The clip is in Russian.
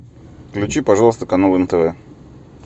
включи пожалуйста канал нтв